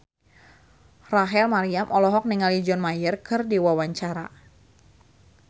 Rachel Maryam olohok ningali John Mayer keur diwawancara